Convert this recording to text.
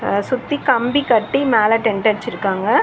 அ சுத்தி கம்பி கட்டி மேல டென்ட் அட்ச்சிருக்காங்க.